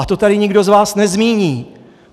A to tady nikdo z vás nezmíní.